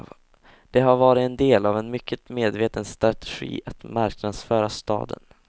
Det har varit en del av en mycket medveten strategi att marknadsföra staden.